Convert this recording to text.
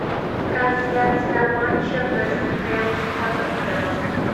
трансляция матча вест хэм с тоттенхэмом